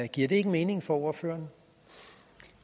giver det ikke mening for ordføreren